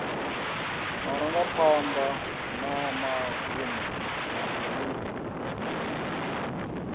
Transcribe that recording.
marangaphanḓa na magumo na dziṅwe